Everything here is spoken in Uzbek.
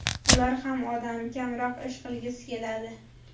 Ular ham odam, kamroq ish qilgisi keladi.